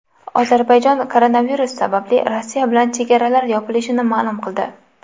Ozarbayjon koronavirus sababli Rossiya bilan chegaralar yopilishini ma’lum qildi.